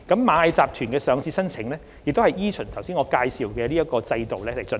螞蟻集團的上市申請亦依循上述的制度進行。